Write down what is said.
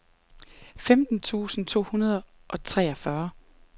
femten tusind to hundrede og treogfyrre